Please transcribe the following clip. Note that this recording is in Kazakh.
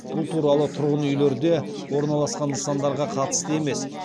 бұл қаулы тұрғын үйлерде орналасқан нысандарға қатысты емес